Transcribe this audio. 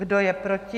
Kdo je proti?